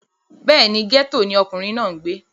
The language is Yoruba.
bẹ́ẹ̀ni, gẹ́tò ni ọkùnrin náà ń gbé